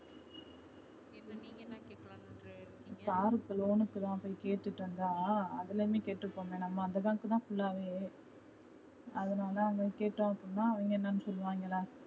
car க்கு loan க்கு தா போய் கேட்டுட்டு வந்தா அதுலயே கேட்டுப்போமே, நம்ம அந்த bank தா full வே அதனால அங்க கேட்டா அவுங்க என்னா சொல்லுவாங்களா